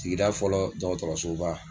Sigida fɔlɔ dɔkɔtɔrɔsoba.